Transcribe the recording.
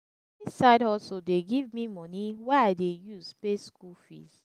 side hustle dey give me money wey i dey use pay skool fees.